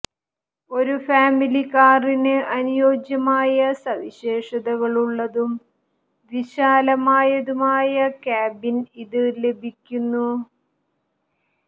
ഒരു ഫാമിലി കാറിന് അനുയോജ്യമായ സവിശേഷതകളുള്ളതും വിശാലമായതുമായ ക്യാബിൻ ഇതിന് ലഭിക്കുന്നു